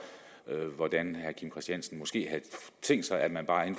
hvordan herre kim christiansen måske havde tænkt sig at man bare